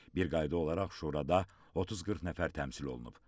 Bir qayda olaraq şurada 30-40 nəfər təmsil olunub.